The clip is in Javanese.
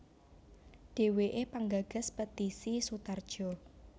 Dheweke penggagas Petisi Sutarjo